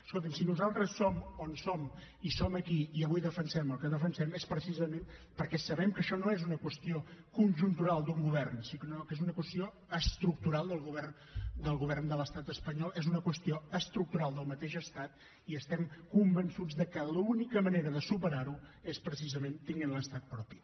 escolti’m si nosaltres som on som i som aquí i avui defensem el que defensem és precisament perquè sabem que això no és una qüestió conjuntural d’un govern sinó que és una qüestió estructural del govern de l’estat espanyol és una qüestió estructural del mateix estat i estem convençuts que l’única manera de superar ho és precisament tenint l’estat propi